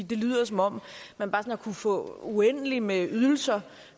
det lyder som om man bare har kunnet få uendeligt med ydelser